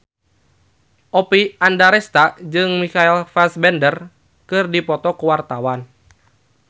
Oppie Andaresta jeung Michael Fassbender keur dipoto ku wartawan